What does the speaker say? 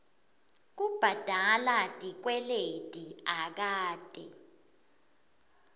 kubhadala tikweleti akate